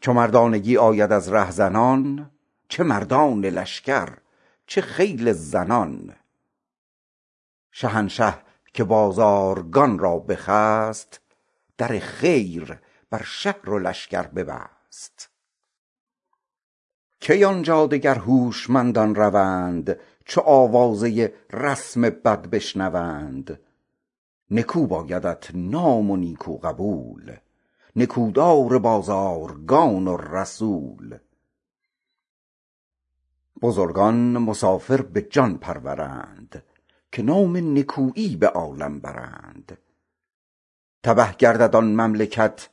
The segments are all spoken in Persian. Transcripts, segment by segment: چو مردانگی آید از رهزنان چه مردان لشکر چه خیل زنان شهنشه که بازارگان را بخست در خیر بر شهر و لشکر ببست کی آن جا دگر هوشمندان روند چو آوازه رسم بد بشنوند نکو بایدت نام و نیکی قبول نکو دار بازارگان و رسول بزرگان مسافر به جان پرورند که نام نکویی به عالم برند تبه گردد آن مملکت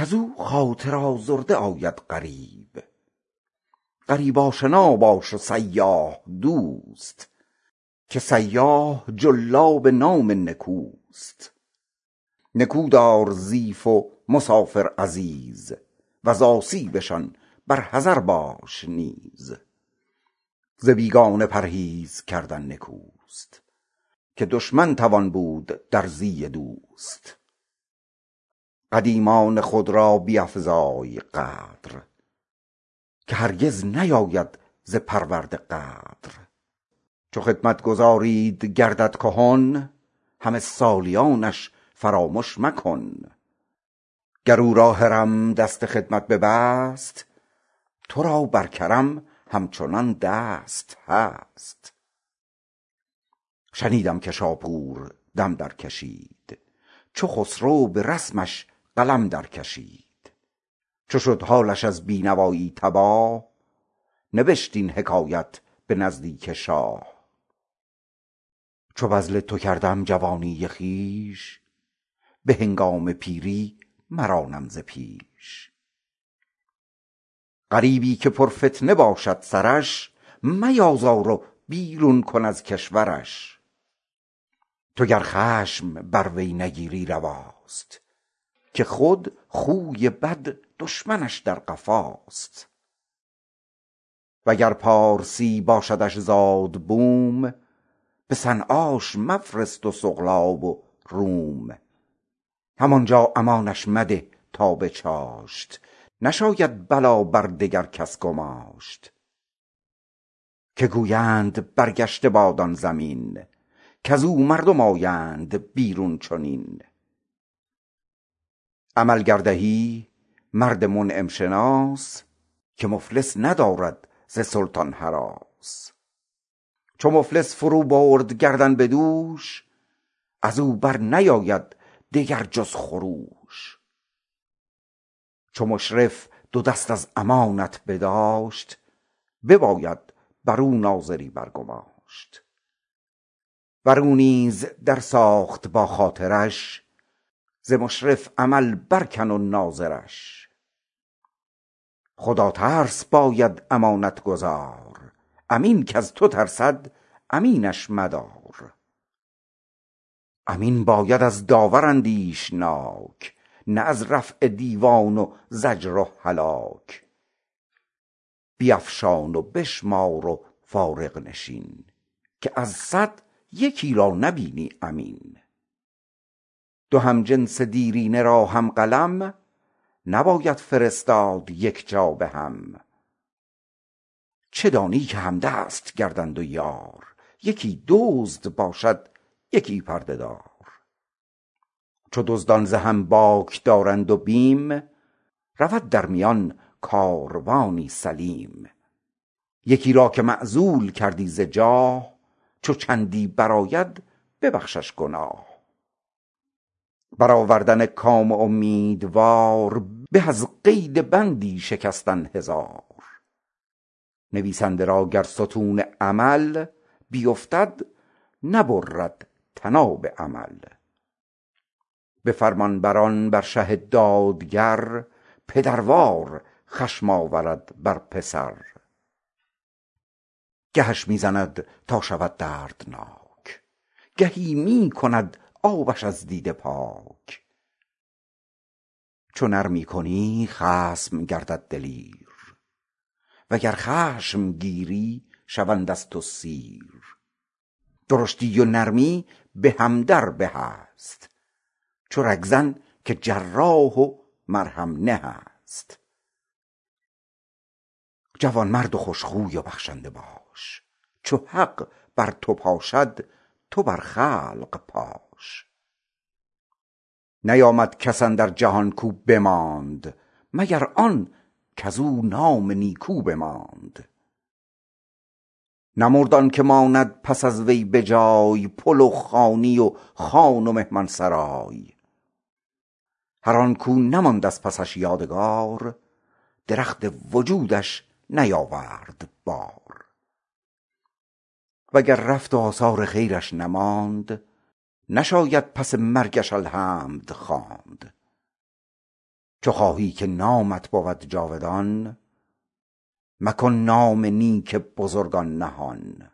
عن قریب کز او خاطر آزرده آید غریب غریب آشنا باش و سیاح دوست که سیاح جلاب نام نکوست نکو دار ضیف و مسافر عزیز وز آسیبشان بر حذر باش نیز ز بیگانه پرهیز کردن نکوست که دشمن توان بود در زی دوست غریبی که پر فتنه باشد سرش میازار و بیرون کن از کشورش تو گر خشم بر وی نگیری رواست که خود خوی بد دشمنش در قفاست وگر پارسی باشدش زاد و بوم به صنعاش مفرست و سقلاب و روم هم آن جا امانش مده تا به چاشت نشاید بلا بر دگر کس گماشت که گویند برگشته باد آن زمین کز او مردم آیند بیرون چنین قدیمان خود را بیفزای قدر که هرگز نیاید ز پرورده غدر چو خدمتگزاریت گردد کهن حق سالیانش فرامش مکن گر او را هرم دست خدمت ببست تو را بر کرم همچنان دست هست شنیدم که شاپور دم در کشید چو خسرو به رسمش قلم در کشید چو شد حالش از بی نوایی تباه نبشت این حکایت به نزدیک شاه چو بذل تو کردم جوانی خویش به هنگام پیری مرانم ز پیش عمل گر دهی مرد منعم شناس که مفلس ندارد ز سلطان هراس چو مفلس فرو برد گردن به دوش از او بر نیاید دگر جز خروش چو مشرف دو دست از امانت بداشت بباید بر او ناظری بر گماشت ور او نیز در ساخت با خاطرش ز مشرف عمل بر کن و ناظرش خدا ترس باید امانت گزار امین کز تو ترسد امینش مدار امین باید از داور اندیشناک نه از رفع دیوان و زجر و هلاک بیفشان و بشمار و فارغ نشین که از صد یکی را نبینی امین دو همجنس دیرینه را هم قلم نباید فرستاد یک جا به هم چه دانی که همدست گردند و یار یکی دزد باشد یکی پرده دار چو دزدان ز هم باک دارند و بیم رود در میان کاروانی سلیم یکی را که معزول کردی ز جاه چو چندی برآید ببخشش گناه بر آوردن کام امیدوار به از قید بندی شکستن هزار نویسنده را گر ستون عمل بیفتد نبرد طناب امل به فرمانبران بر شه دادگر پدروار خشم آورد بر پسر گهش می زند تا شود دردناک گهی می کند آبش از دیده پاک چو نرمی کنی خصم گردد دلیر وگر خشم گیری شوند از تو سیر درشتی و نرمی به هم در به است چو رگ زن که جراح و مرهم نه است جوان مرد و خوش خوی و بخشنده باش چو حق بر تو پاشد تو بر خلق پاش نیامد کس اندر جهان کاو بماند مگر آن کز او نام نیکو بماند نمرد آن که ماند پس از وی به جای پل و خانی و خان و مهمان سرای هر آن کاو نماند از پسش یادگار درخت وجودش نیاورد بار وگر رفت و آثار خیرش نماند نشاید پس مرگش الحمد خواند چو خواهی که نامت بود جاودان مکن نام نیک بزرگان نهان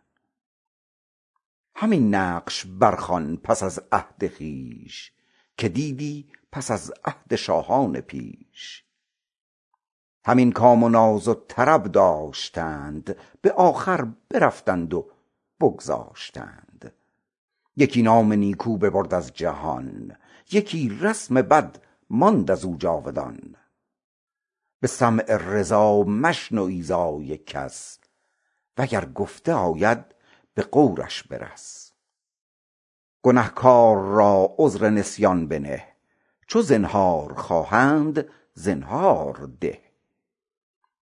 همین نقش بر خوان پس از عهد خویش که دیدی پس از عهد شاهان پیش همین کام و ناز و طرب داشتند به آخر برفتند و بگذاشتند یکی نام نیکو ببرد از جهان یکی رسم بد ماند از او جاودان به سمع رضا مشنو ایذای کس وگر گفته آید به غورش برس گنهکار را عذر نسیان بنه چو زنهار خواهند زنهار ده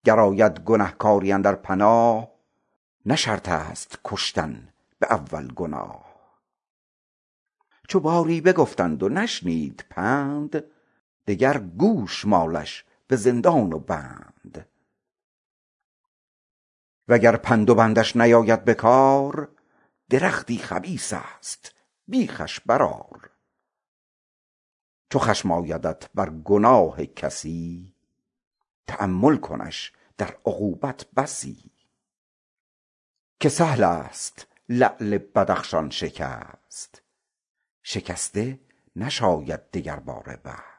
گر آید گنهکاری اندر پناه نه شرط است کشتن به اول گناه چو باری بگفتند و نشنید پند بده گوشمالش به زندان و بند وگر پند و بندش نیاید بکار درختی خبیث است بیخش برآر چو خشم آیدت بر گناه کسی تأمل کنش در عقوبت بسی که سهل است لعل بدخشان شکست شکسته نشاید دگرباره بست